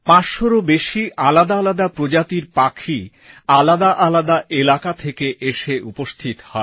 ৫০০রও বেশি আলাদা আলাদা প্রজাতির পাখি আলাদা আলাদা এলাকা থেকে এসে উপস্থিত হয়